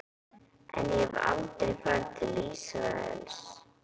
En ég hef aldrei farið til Ísraels.